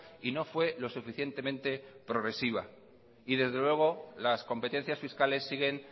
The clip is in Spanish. y no fue lo suficientemente progresiva y desde luego las competencias fiscales siguen